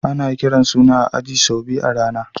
Ana kiran suna a aji sau biyu a rana.